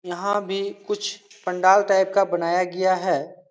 यहाँ भी कुछ पंडाल टाइप का बनाया गया है।